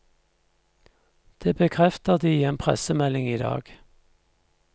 Det bekrefter de i en pressemelding i dag.